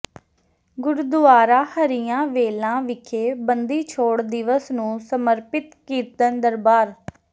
ਗੁਰਦੁਆਰਾ ਹਰੀਆਂ ਵੇਲਾਂ ਵਿਖੇ ਬੰਦੀ ਛੋੜ ਦਿਵਸ ਨੂੰ ਸਮਰਪਿਤ ਕੀਰਤਨ ਦਰਬਾਰ